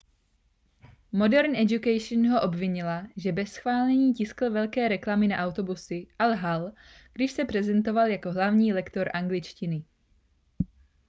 modern education ho obvinila že bez schválení tiskl velké reklamy na autobusy a lhal když se prezentoval jako hlavní lektor angličtiny